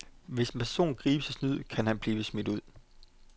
Hvis en person gribes i snyd, kan han blive smidt ud.